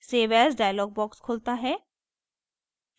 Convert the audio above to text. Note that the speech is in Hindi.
सेव एज़ dialog box खुलता है